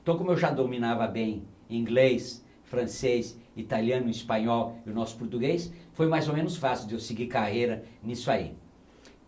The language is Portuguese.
Então, como eu já dominava bem inglês, francês, italiano, espanhol e o nosso português, foi mais ou menos fácil de eu seguir carreira nisso aí.